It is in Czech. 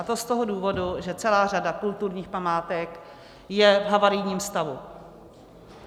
A to z toho důvodu, že celá řada kulturních památek je v havarijním stavu.